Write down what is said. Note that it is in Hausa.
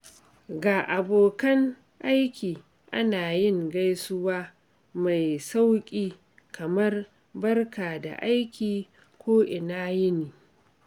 Ga abokan aiki, ana yin gaisuwa mai sauƙi kamar "Barka da aiki" ko "Ina yini."